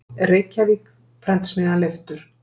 Reykjavík: Prentsmiðjan Leiftur.